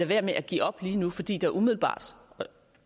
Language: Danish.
være med at give op lige nu fordi der umiddelbart